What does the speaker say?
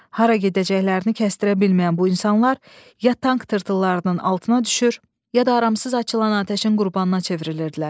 Hara gedəcəklərini kəstərə bilməyən bu insanlar ya tank tırtıllarının altına düşür, ya da aramısız açılan atəşin qurbanına çevrilirdilər.